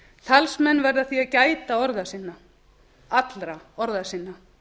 talsmenn verða því að gæta orða sinna allra orða sinna